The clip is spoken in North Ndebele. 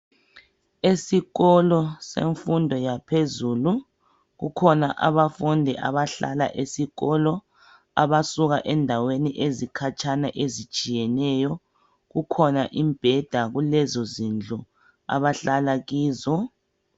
Esikolo semfundo yaphezulu, kukhona abafundi abahlala esikolo, abasuka ezindaweni ezikhatshana ezitshiyeneyo. Kukhona imbheda kulezo zindlu abahlala kizo.